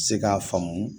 Se k'a faamu